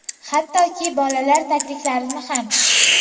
Hattoki, bolalar tagliklarini ham.